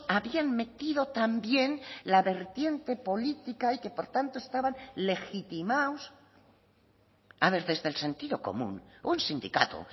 habían metido también la vertiente política y que por tanto estaban legitimados a ver desde el sentido común un sindicato